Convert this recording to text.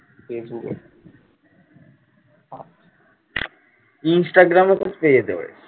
instagram তো পেয়ে যেতে পারিস?